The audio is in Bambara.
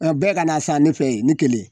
A bɛɛ ka na san ne fɛ yen ne kelen